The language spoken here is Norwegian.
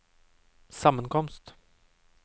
sammenkomst